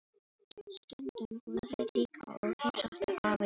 Stundum fóru þeir líka og heimsóttu afa í vinnuna.